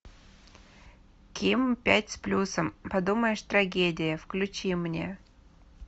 ким пять с плюсом подумаешь трагедия включи мне